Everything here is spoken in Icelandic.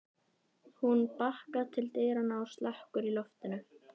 Hún bakkar til dyranna og slekkur í loftinu.